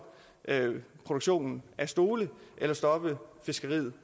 produktionen af stole eller stoppe fiskeriet